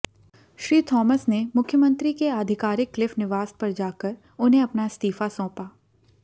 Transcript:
Shri Thomas ने मुख्यमंत्री के आधिकारिक क्लिफ निवास पर जाकर उन्हें अपना इस्तीफा सौंप